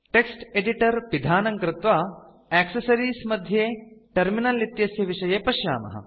text editor पिधानं कृत्वा accessories मध्ये टर्मिनल इत्यस्य विषये पश्यामः